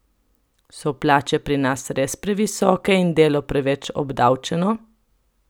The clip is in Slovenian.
So plače pri nas res previsoke in delo preveč obdavčeno?